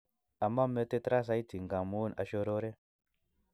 Aman metit raa saiti ngamun ashororre